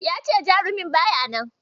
Ya ce jarumi ba ya nan.